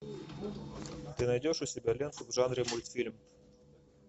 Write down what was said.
ты найдешь у себя ленту в жанре мультфильм